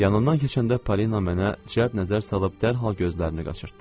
Yanından keçəndə Parina mənə cəld nəzər salıb dərhal gözlərini qaçırtdı.